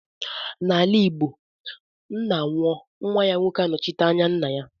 N'ala igbo ńnà nwụọ nwa ya nwoke ga - anọchite anya ńnà ya.